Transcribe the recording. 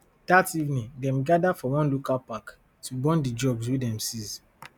dat evening dem gather for one local park to burn di drugs wey dem seize